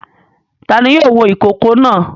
Ta ni yóò wo ìkókó náà?